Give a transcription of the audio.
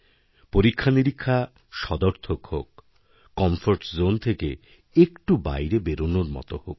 পরীক্ষানিরীক্ষা সদর্থক হোক কমফোর্টজোন থেকে একটু বাইরেবেরোনর মত হোক